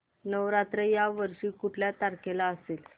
नवरात्र या वर्षी कुठल्या तारखेला असेल